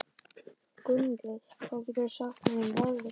Gunnlöð, hvað geturðu sagt mér um veðrið?